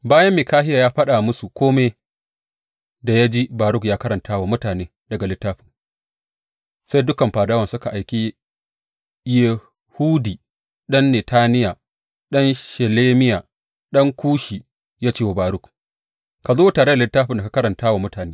Bayan Mikahiya ya faɗa musu kome da ya ji Baruk ya karanta wa mutane daga littafin, sai dukan fadawan suka aiki Yehudi ɗan Netaniya, ɗan Shelemiya, ɗan Kushi, ya ce wa Baruk, Ka zo tare da littafin da ka karanta wa mutane.